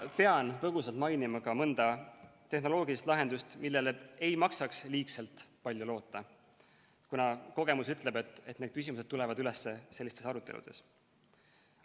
Ma pean põgusalt mainima ka mõnda tehnoloogilist lahendust, millele ei maksaks liiga palju loota, kuna kogemus ütleb, et need küsimused tulevad üles sellistes aruteludes.